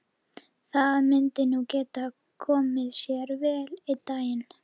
Það myndi nú geta komið sér vel einn daginn.